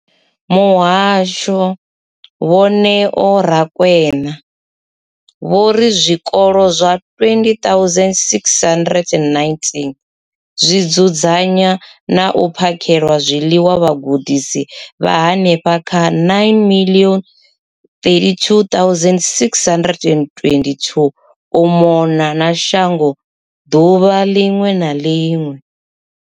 Muhasho, Vho Neo Rakwena, vho ri zwikolo zwa 20 619 zwi dzudzanya na u phakhela zwiḽiwa vhagudiswa vha henefha kha 9 032 622 u mona na shango ḓuvha ḽiṅwe na ḽiṅwe.